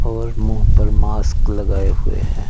और मुंह पर मास्क लगाए हुए हैं।